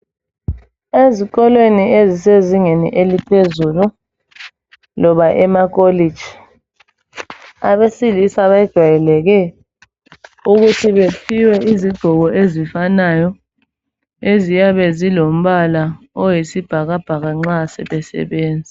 Ezikolweni ezisezingeni eliphezulu loba amakolitshi, abesilisa kwejwayeleke ukuthi bephiwe izigqoko ezifanayo, eziyabe zilombala oyisibhakabhaka nxa sebesebenza.